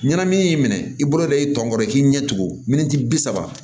Ɲɛnamini y'i minɛ i bolo da i tɔ kɔrɔ i k'i ɲɛ tugun minti bi saba